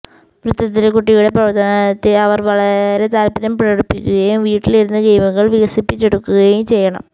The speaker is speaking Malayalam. വൃത്തത്തിലെ കുട്ടിയുടെ പ്രവർത്തനത്തിൽ അവർ വളരെ താല്പര്യം പ്രകടിപ്പിക്കുകയും വീട്ടിലിരുന്ന് ഗെയിമുകൾ വികസിപ്പിച്ചെടുക്കുകയും ചെയ്യണം